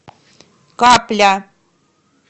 капля